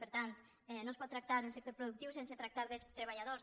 per tant no es pot tractar el sector productiu sense tractar dels treballadors